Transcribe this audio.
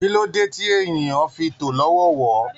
Kí ló dé tí ènìyàn fi tó lọ́wọọ̀wọ́?